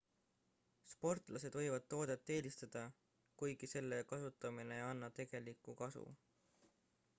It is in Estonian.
sportlased võivad toodet eelistada kuigi selle kasutamine ei anna tegelikku kasu